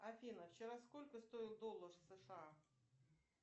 афина вчера сколько стоил доллар сша